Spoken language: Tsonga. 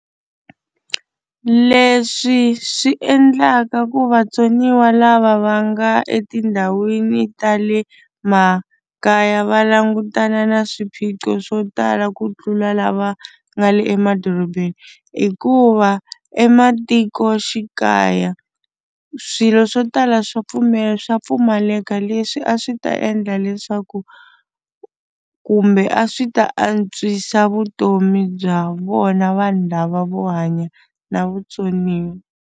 Leswi swi endlaka ku vatsoniwa lava va nga etindhawini ta le makaya va langutana na swiphiqo swo tala ku tlula lava nga le emadorobeni hikuva ematikoxikaya swilo swo tala swa swa pfumaleka leswi a swi ta endla leswaku kumbe a swi ta antswisa vutomi bya vona vanhu lava vo hanya na vutsoniwa.